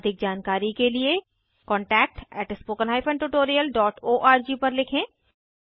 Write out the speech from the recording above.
अधिक जानकारी के लिए contactspoken tutorialorg पर लिखें